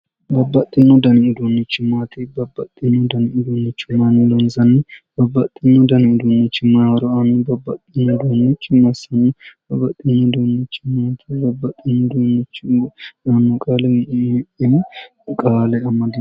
Babbaxino dani uduunnichi maati? Babbaxino dani uduunnicho maayiinni loonsanni, Babbaxino dani uduunnichi mayi horo aanno? Babbaxino dani uduunnichi massanno? Babbaxino dani uduunnichi yaanno qaali qaale amadino?